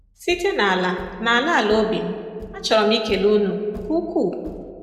Site n’ala n’ala ala obi m, achọrọ m ikele unu nke ukwuu.